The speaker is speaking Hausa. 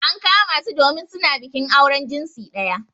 An kama su domin su na bikin auren jinsi daya.